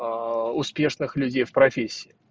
успешных людей в профессии